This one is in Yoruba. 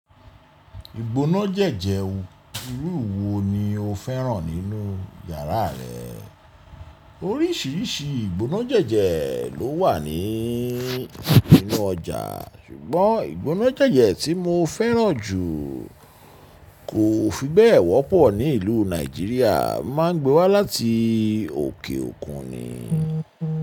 Ìgbóná jẹ́jẹ irú wo ni o fẹ́ràn nínú yàrá rẹ? Oríṣiríṣi ìgbóná jẹ́jẹ ló wà ní, nínú ọjà. Ṣùgbọ́n ìgbóná jẹ́jẹ tí mo fẹ́ràn jù kò fi bẹ́ẹ̀ wọ́pọ̀ ní ìlú Nàìjíríà, má ń gbé wá láti òkè òkun ni.